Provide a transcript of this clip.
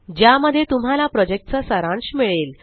ज्या मध्ये तुम्हाला प्रोजेक्ट चा सारांश मिळेल